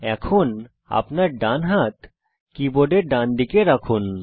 এখন আপনার ডানহাত কীবোর্ডের ডানদিকে রাখুন